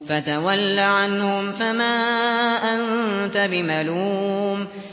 فَتَوَلَّ عَنْهُمْ فَمَا أَنتَ بِمَلُومٍ